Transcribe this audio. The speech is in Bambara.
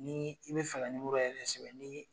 Ni i be fɛ ka yɛrɛ sɛbɛn ni